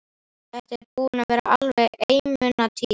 Þetta er búin að vera alveg einmunatíð.